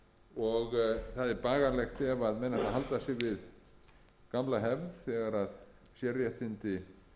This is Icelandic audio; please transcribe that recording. og það er bagalegt ef menn ætla að halda sig við gamla hefð þegar sérréttindi